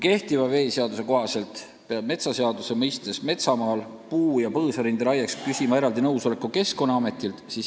Kehtiva veeseaduse kohaselt peab metsaseaduse mõistes metsamaal puu- ja põõsarinde raieks küsima eraldi nõusoleku Keskkonnaametilt.